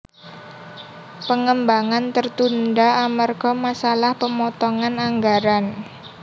Pengembangan tertunda amerga masalah pemotongan anggaran